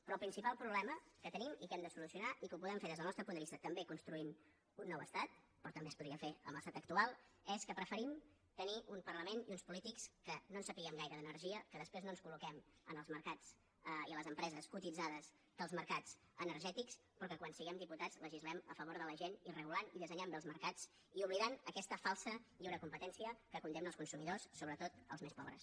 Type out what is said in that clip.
però el principal problema que tenim i que hem de solucionar i que ho podem fer des del nostre punt de vista també construint un nou estat però també es podria fer amb l’estat actual és que preferim tenir un parlament i uns polítics que no en sapiguem gaire d’energia que després no ens col·loquem en els mercats i a les empreses cotitzades dels mercats energètics però que quan siguem diputats legislem a favor de la gent i regulant i dissenyant bé els mercats i oblidant aquesta falsa lliure competència que condemna els consumidors sobretot els més pobres